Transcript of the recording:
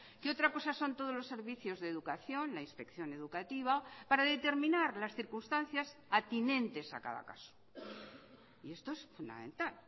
qué otra cosa son todos los servicios de educación la inspección educativa para determinar las circunstancias atinentes a cada caso y esto es fundamental